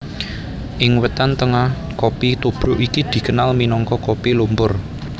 Ing Wétan Tengah kopi tubruk iki dikenal minangka kopi lumpur